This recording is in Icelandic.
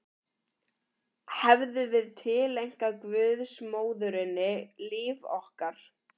Hefðum við tileinkað guðsmóðurinni líf okkar?